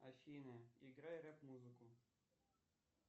афина играй реп музыку